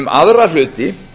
um aðra hluti